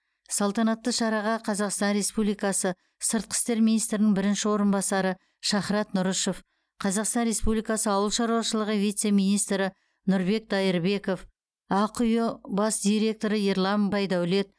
салтанатты шараға қазақстан республикасы сыртқы істер министрінің бірінші орынбасары шахрат нұрышев қазақстан республикасы ауыл шаруашылығы вице министрі нұрбек дайырбеков ақиұ бас директоры ерлан байдәулет